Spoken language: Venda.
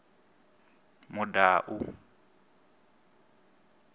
mudau